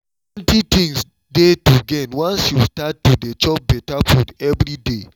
plenty things dey to gain once you start to dey chop better food every day